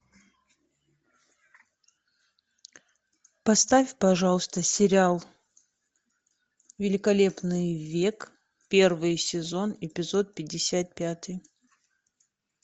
поставь пожалуйста сериал великолепный век первый сезон эпизод пятьдесят пятый